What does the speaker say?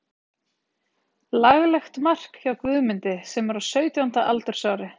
Laglegt mark hjá Guðmundi sem er á sautjánda aldursári.